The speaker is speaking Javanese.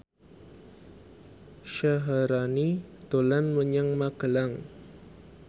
Syaharani dolan menyang Magelang